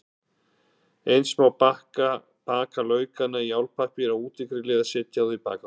Eins má baka laukana í álpappír á útigrilli eða setja þá í bakarofninn.